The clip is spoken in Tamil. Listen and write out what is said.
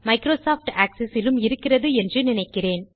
மைக்ரோசாஃப்ட் ஆக்செஸ் இலும் இருக்கிறது என்று நினைக்கிறேன்